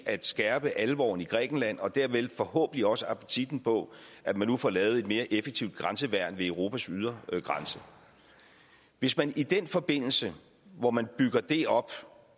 at skærpe alvoren i grækenland og dermed forhåbentlig også appetitten på at man nu får lavet et mere effektivt grænseværn ved europas ydre grænse hvis man i den forbindelse hvor man bygger det op